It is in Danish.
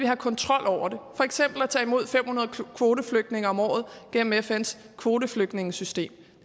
have kontrol over det for eksempel at tage imod fem hundrede kvoteflygtninge om året gennem fns kvoteflygtningesystem